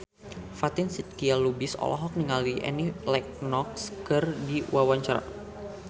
Fatin Shidqia Lubis olohok ningali Annie Lenox keur diwawancara